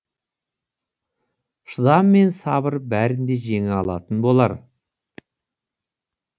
шыдам мен сабыр бәрін де жеңе алатын болар